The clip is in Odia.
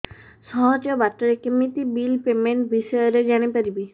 ସହଜ ବାଟ ରେ କେମିତି ବିଲ୍ ପେମେଣ୍ଟ ବିଷୟ ରେ ଜାଣି ପାରିବି